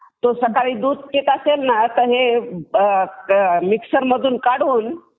तो सकाळी दूध पीत असेल ना, मग हे सगळं मिक्सर मधून काढून